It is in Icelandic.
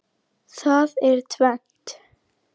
Það er tvennt.